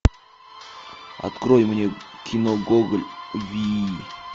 открой мне кино гоголь вий